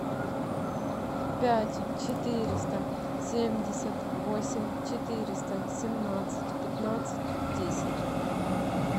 пять четыреста семьдесят восемь четыреста семнадцать пятнадцать десять